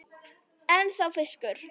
Ennþá fiskur.